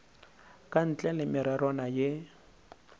ka ntle le mererwana ye